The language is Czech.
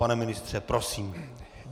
Pane ministře, prosím.